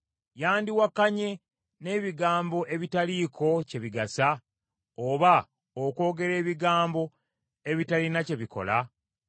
Yandiwakanye n’ebigambo ebitaliiko kye bigasa, oba okwogera ebigambo ebitalina kye bikola?